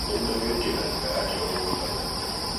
kũruta mĩrũkĩ na njĩra ya kĩoro ngwitagwo gũthuria.